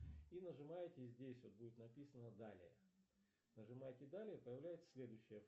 и нажимаете здесь вот будет написано далее нажимаете далее появляется следующая